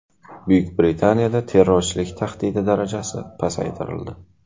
Buyuk Britaniyada terrorchilik tahdidi darajasi pasaytirildi.